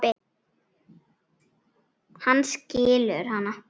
Hann skilur hana.